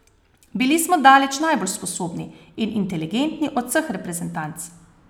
Bili smo daleč najbolj sposobni in inteligentni od vseh reprezentanc.